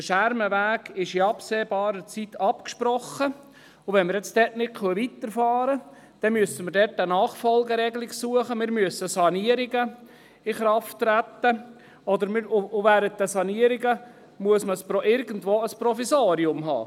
Der Schermenweg ist in absehbarer Zeit abgesprochen, und wenn wir jetzt nicht weiterfahren können, müssen wir eine Nachfolgeregelung suchen, wir müssen Sanierungen in die Wege leiten, und während den Sanierungen muss man irgendwo ein Provisorium haben.